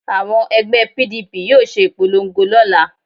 Àwọn ẹgbẹ́ PDP yóò ṣe ìpolongo lọ́la